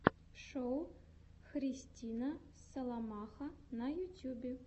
шоу христина соломаха на ютьюбе